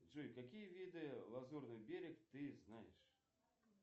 джой какие виды лазурный берег ты знаешь